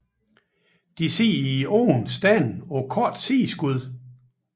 De sidder i åbne stande på korte sideskud